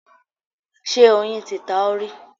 Ṣé oyin ti ta ọ́ rí?